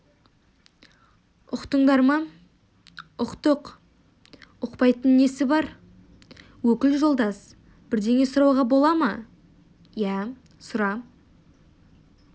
ұқтыңдар ма ұқтық ұқпайтын несі бар өкіл жолдас бірдеңе сұрауға бола ма иә сұра